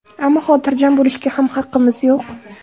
Ammo xotirjam bo‘lishga ham haqqimiz yo‘q.